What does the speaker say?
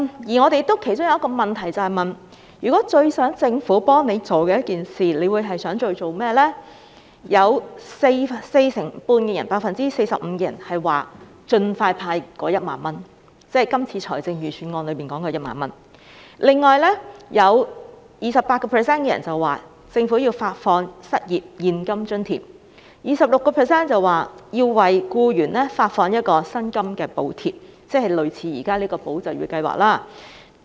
調查其中一項問題問到他們最希望政府幫助的一件事，有 45% 受訪者表示希望盡快派發1萬元，即今次財政預算案提到的1萬元；有 28% 受訪者要求政府發放失業現金津貼；有 26% 受訪者要求政府為僱員發放薪金補貼，即類似現在提出的"保就業"計劃。